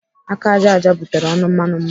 Aka ájá ájá butere ọnụ mmanụ mmanụ.